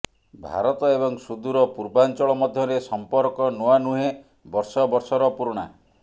ଭାରତ ଏବଂ ସୁଦୂର ପୂର୍ବାଞ୍ଚଳ ମଧ୍ୟରେ ସମ୍ପର୍କ ନୂଆ ନୁହେଁ ବର୍ଷ ବର୍ଷର ପୁରୁଣା